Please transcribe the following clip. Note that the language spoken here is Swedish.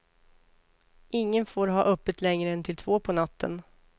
Ingen får ha öppet längre än till två på natten.